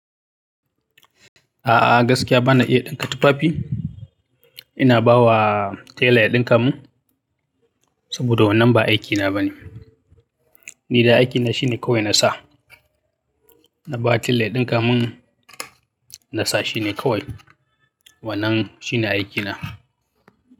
A'a gaskiya bana iya ɗinka tufafi. Ina bawa tailor ya ɗin kamun saboda wannan ba aikina bane. Ni dai aikina shine kawai nasa. Na ba tailor ya ɗin ka mun nasa shine kawai. Wannan shine aikina.